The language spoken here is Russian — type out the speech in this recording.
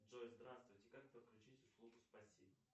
джой здравствуйте как подключить услугу спасибо